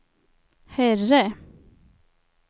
herre